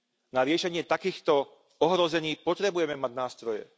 Na riešenie takýchto ohrození potrebujeme mať nástroje.